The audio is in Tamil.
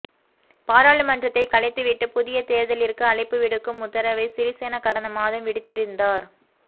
பாராளுமன்றத்தை கலைத்துவிட்டு புதிய தேர்தலிற்கு அழைப்பு விடுக்கும் உத்தரவை சிறிசேன கடந்த மாதம் விடுத்திருந்தார்